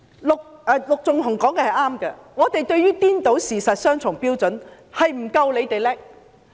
陸頌雄議員說得對，對於顛倒事實及雙重標準，我們不夠反對派厲害。